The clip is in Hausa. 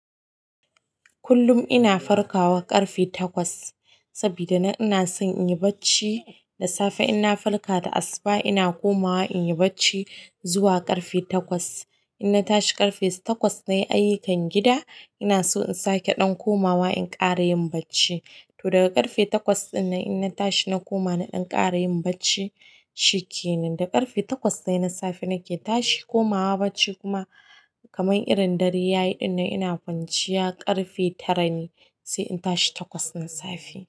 Kullum ina farkawa ƙarfe takwas sabida ina son in yi bacci da safe. Ina farka da asuba ina komawa in yi bacci zuwa ƙarfe takwas. Ina tashi ƙarfe takwas na yi ayyukan gida. Ina so in sake ɗan komawa in ƙara yin bacci. To daga ƙarfe takwas ɗin nan ina tashi na koma na ɗan ƙara yin bacci. Shikenan, daga ƙarfe takwas dai na safe nake tashi komawa bacci kuma kamar irin dare yayi din nan ina kwanciya ƙarfe tare ne sai in tashi takwas na safe.